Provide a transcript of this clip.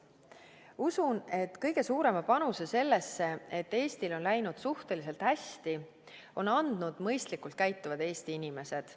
Usun, et kõige suurema panuse sellesse, et Eestil on läinud suhteliselt hästi, on andnud mõistlikult käituvad Eesti inimesed.